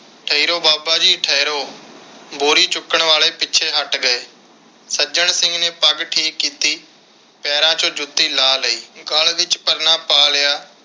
ਠਹਿਰੋ ਬਾਬਾ ਜੀ ਠਹਿਰੋ ਬੋਰੀ ਚੁੱਕਣ ਵਾਲੇ ਪਿੱਛੇ ਹਟ ਗਏ। ਸੱਜਣ ਸਿੰਘ ਨੇ ਪੱਗ ਠੀਕ ਕੀਤੀ, ਪੈਰਾਂ ਵਿਚੋਂ ਜੁੱਤੀ ਲਾਹ ਲਈ ਤੇ ਗਲ ਵਿਚ ਪਰਨਾ ਪਾ ਲਿਆ